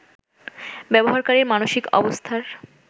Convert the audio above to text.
ব্যবহারকারীর মানসিক অবস্থার